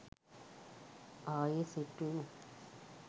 ආයේ සෙට් වෙමු